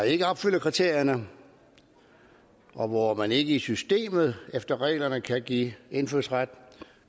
ikke opfylder kriterierne og hvor man ikke i systemet efter reglerne kan give indfødsret